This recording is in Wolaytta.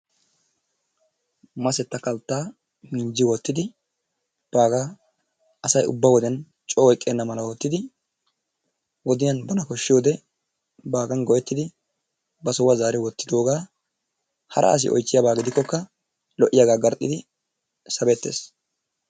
Masetta kalttaa minjji wottidi baagaa asay ubba wodiyan coo oyqqenna mala oottidi wodiyan bana koshshoodee baagan go"ettidi ba sohuwaa zaari wottidoogaa hara asi oychchiyaaba gidikkokka lo"iyaaga garxxidi sabettees.